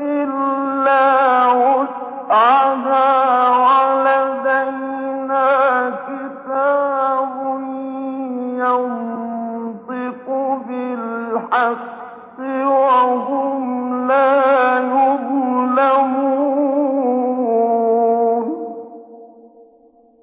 إِلَّا وُسْعَهَا ۖ وَلَدَيْنَا كِتَابٌ يَنطِقُ بِالْحَقِّ ۚ وَهُمْ لَا يُظْلَمُونَ